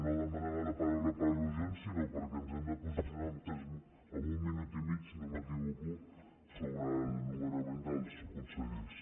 no demanava la paraula per al·lusions sinó perquè ens hem de posicionar amb un minut i mig si no m’equivoco sobre el nomenament dels consellers